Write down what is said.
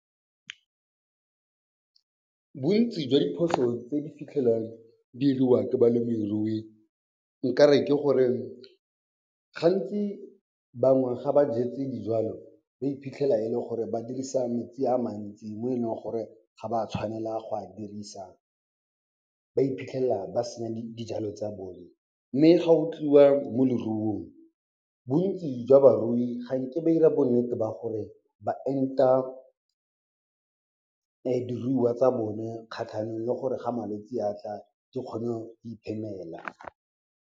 Bontsi jwa diphoso tse di fitlhelwang di 'iriwa ke balemirui nkare ke gore gantsi bangwe ga ba jetse dijalo, ba iphitlhela e le gore ba dirisa metsi a mantsi mo e leng gore ga ba tshwanela go a dirisa. Ba iphitlhela ba senya dijalo tsa bone mme ga go tliwa mo leruong, bontsi jwa barui ga nke ba ira bonnete ba gore ba enta diruiwa tsa bone kgatlhanong le gore ga malwetse a tla, di kgone di iphemela.